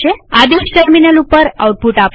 આદેશ ટર્મિનલ ઉપર આઉટપુટ આપશે